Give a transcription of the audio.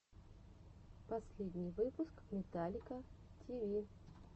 последний выпуск металлика ти ви